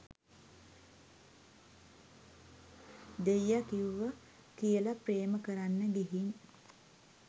දෙයිය කිව්ව කියල ප්‍රේම කරන්න ගිහින්